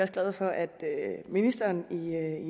glade for at ministeren